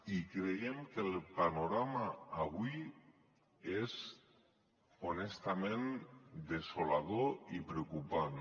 i creiem que el panorama avui és honestament desolador i preocupant